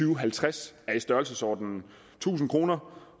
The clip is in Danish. og halvtreds er i størrelsesordenen tusind kroner